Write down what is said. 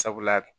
Sabula